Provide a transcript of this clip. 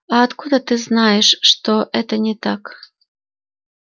а откуда ты знаешь что это не так